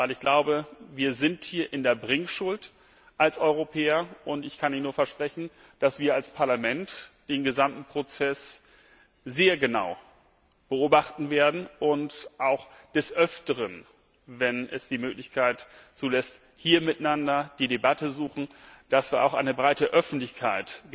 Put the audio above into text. Denn ich glaube, wir sind hier als Europäer in der Bringschuld, und ich kann Ihnen nur versprechen, dass wir als Parlament den gesamten Prozess sehr genau beobachten werden und auch des Öfteren, wenn es die Möglichkeit zulässt, hier miteinander die Debatte suchen, dass wir auch eine breite Öffentlichkeit